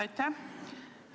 Aitäh!